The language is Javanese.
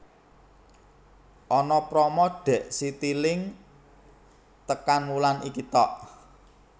Ana promo dek Citilink tekan wulan iki tok